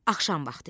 Axşam vaxtı idi.